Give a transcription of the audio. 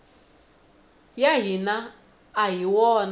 ya hina a hi wona